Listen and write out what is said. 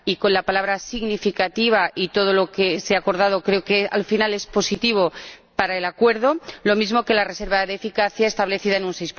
y creo que la palabra significativa y todo lo que se ha acordado al final es positivo para el acuerdo, lo mismo que la reserva de eficacia establecida en un